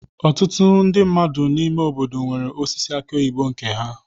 Ọtụtụ ndị mmadụ n'ime obodo nwere osisi aki oyibo nke ha.